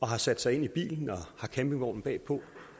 har sat sig ind i bilen og har campingvognen bagpå